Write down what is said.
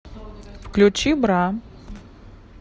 включи бра